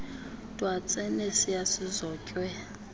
twatse nesiya sizotywe